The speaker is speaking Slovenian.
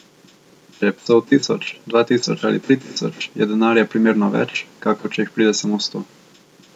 Če je psov tisoč, dva tisoč ali tri tisoč, je denarja primerno več, kakor če jih pride samo sto.